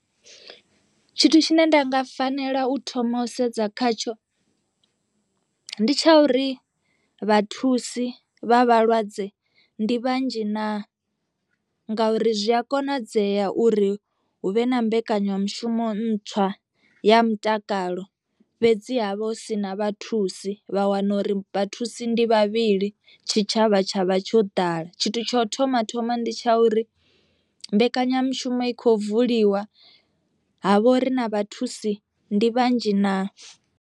Tshithu tshine nda nga fanela u thoma u sedza khatsho, ndi tsha uri vhathusi vha vhalwadze ndi vhanzhi naa ngauri zwi a konadzea uri hu vhe na mbekanyamushumo ntswa ya mutakalo fhedziha vha hu si na vhathusi vha wana uri vhathusi ndi vhavhili tshitshavha tshavha tsho ḓala, tshithu tsho thoma thoma ndi tsha uri mbekanyamushumo i kho vuliwa ha vhori na vhathusi ndi vhanzhi na.